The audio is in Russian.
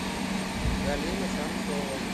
галина храмцова